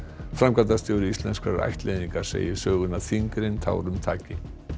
framkvæmdastjóri Íslenskrar ættleiðingar segir söguna þyngri en tárum taki